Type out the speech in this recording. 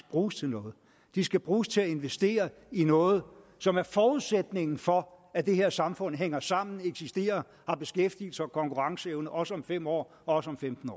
bruges til noget de skal bruges til at investere i noget som er forudsætningen for at det her samfund hænger sammen eksisterer og har beskæftigelse og konkurrenceevne også om fem år og også om femten